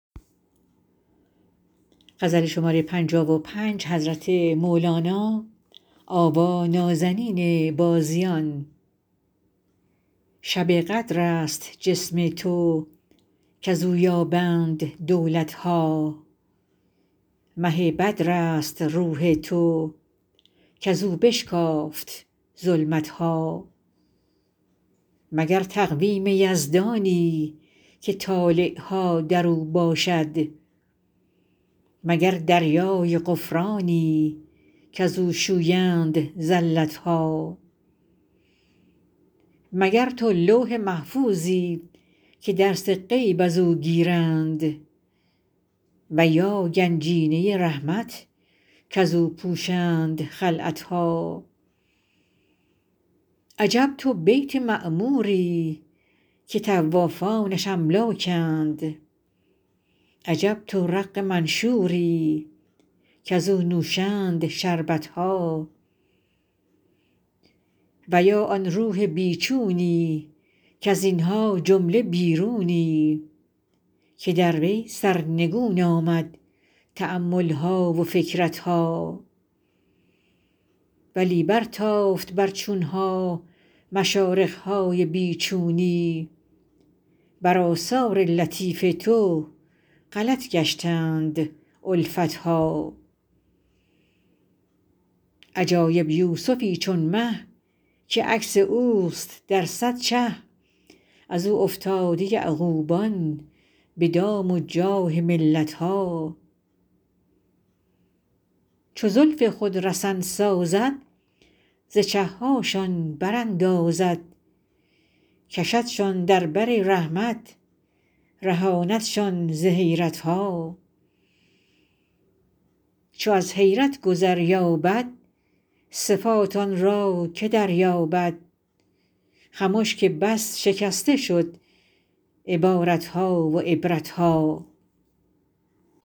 شب قدر است جسم تو کز او یابند دولت ها مه بدرست روح تو کز او بشکافت ظلمت ها مگر تقویم یزدانی که طالع ها در او باشد مگر دریای غفرانی کز او شویند زلت ها مگر تو لوح محفوظی که درس غیب از او گیرند و یا گنجینه رحمت کز او پوشند خلعت ها عجب تو بیت معموری که طوافانش املاکند عجب تو رق منشوری کز او نوشند شربت ها و یا آن روح بی چونی کز این ها جمله بیرونی که در وی سرنگون آمد تأمل ها و فکرت ها ولی برتافت بر چون ها مشارق های بی چونی بر آثار لطیف تو غلط گشتند الفت ها عجایب یوسفی چون مه که عکس اوست در صد چه از او افتاده یعقوبان به دام و جاه ملت ها چو زلف خود رسن سازد ز چه هاشان براندازد کشدشان در بر رحمت رهاندشان ز حیرت ها چو از حیرت گذر یابد صفات آن را که دریابد خمش که بس شکسته شد عبارت ها و عبرت ها